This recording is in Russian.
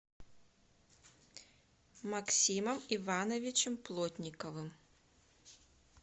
максимом ивановичем плотниковым